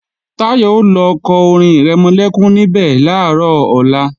Táyọ̀ ò lọ kọ orin-ìrẹmọlẹ́kún níbẹ̀ làárọ̀ ọ̀la